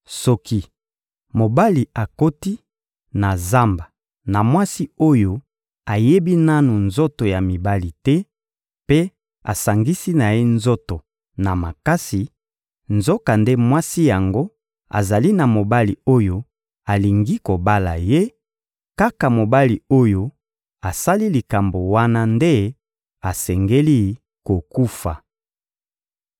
Soki mobali akoti na zamba na mwasi oyo ayebi nanu nzoto ya mibali te mpe asangisi na ye nzoto na makasi, nzokande mwasi yango azali na mobali oyo alingi kobala ye, kaka mobali oyo asali likambo wana nde asengeli kokufa.